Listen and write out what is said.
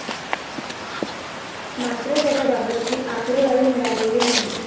मात्र, त्याबाबतची आकडेवारी मिळालेली नाही.